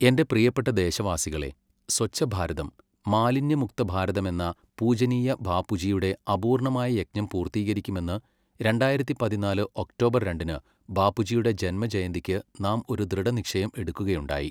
എന്റെ പ്രിയപ്പെട്ട ദേശവാസികളേ, സ്വച്ഛഭാരതം, മാലിന്യമുക്തഭാരതമെന്ന പൂജനീയ ബാപ്പുജിയുടെ അപൂർണ്ണമായ യജ്ഞം പൂർത്തീകരിക്കുമെന്ന് രണ്ടായിരത്തി പതിനാല് ഒക്ടോബർ രണ്ടിന് ബാപ്പുജിയുടെ ജന്മജയന്തിക്ക് നാം ഒരു ദൃഢനിശ്ചയം എടുക്കുകയുണ്ടായി.